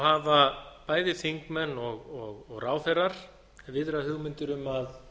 hafa bæði þingmenn og ráðherrar viðrað hugmyndir um að